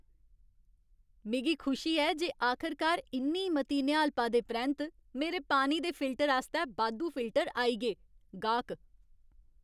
मिगी खुशी ऐ जे आखरकार इन्नी मती निहालपा दे परैंत्त मेरे पानी दे फिल्टर आस्तै बाद्धू फिल्टर आई गे। गाह्क